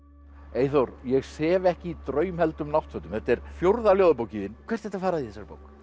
Eyþór ég sef ekki í draumheldum náttfötum þetta er fjórða ljóðabókin þín hvert ertu að fara í þessari bók